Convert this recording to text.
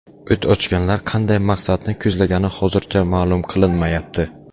O‘t ochganlar qanday maqsadni ko‘zlagani hozircha ma’lum qilinmayapti.